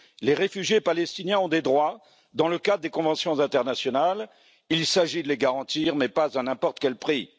Les réfugiés palestiniens ont des droits dans le cadre des conventions internationales il s'agit de les garantir, mais pas à n'importe quel prix.